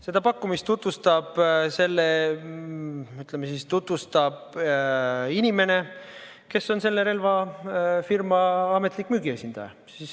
Seda pakkumist tutvustab, ütleme siis, inimene, kes on selle relvafirma ametlik müügiesindaja.